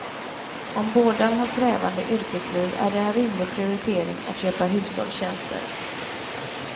Om båda har krävande yrkesliv är det en rimlig prioritering att köpa hushållstjänster.